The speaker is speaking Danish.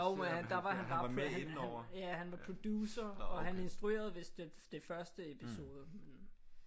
Jo men der var han bare han han ja han var producer og han instruerede vist det den første episode men